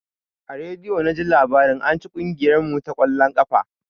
A rediyo naji labarin anci kugiyar mu ta ƙwallon ƙafa.